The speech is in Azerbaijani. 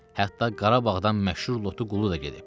Hətta Qarabağdan məşhur lotu qulu da gedib.